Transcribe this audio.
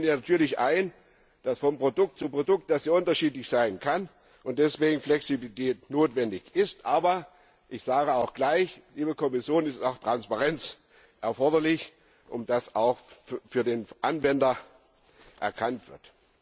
Ich sehe natürlich ein, dass sie von Produkt zu Produkt unterschiedlich sein kann und deswegen Flexibilität notwendig ist, aber ich sage auch gleich, liebe Kommission, dass auch Transparenz erforderlich ist, damit das auch für den Anwender erkennbar wird.